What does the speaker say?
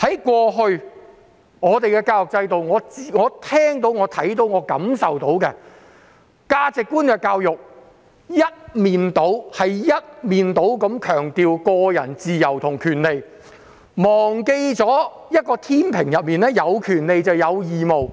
過去的教育制度，我所聽到、看到和感受到的價值觀，是一面倒強調個人自由和權利，似乎忘記了天秤上有權利就有義務。